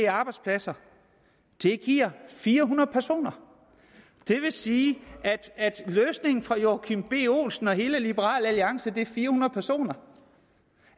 af arbejdspladser det giver fire hundrede personer det vil sige at løsningen for herre joachim b olsen og hele liberal alliance er fire hundrede personer